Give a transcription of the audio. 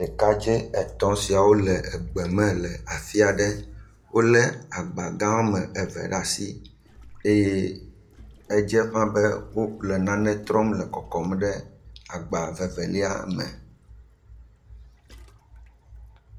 Ɖekadze etɔ siawo le egbeme la afi aɖe. Wole agba gã wo ame eve ɖe asi eye edze ƒãa be woƒle nane trɔm le kɔkɔm ɖe agba vevelia me